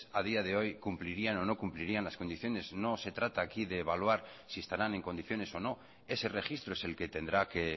a día de hoy cumplirían o no cumplirían las condiciones no se trata aquí de evaluar si estarán en condiciones o no ese registro es el que tendrá que